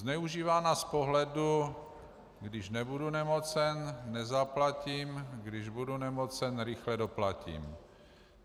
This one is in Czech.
Zneužívána z pohledu když nebudu nemocen, nezaplatím, když budu nemocen, rychle doplatím.